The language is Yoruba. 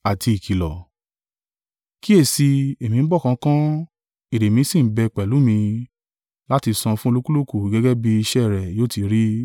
“Kíyèsi i, èmi ń bọ̀ kánkán; èrè mí sì ń bẹ pẹ̀lú mi, láti sán fún olúkúlùkù gẹ́gẹ́ bí iṣẹ́ rẹ̀ yóò tí rí.